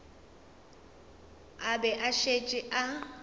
a be a šetše a